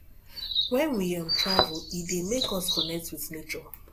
when we um travel e dey make us connect with nature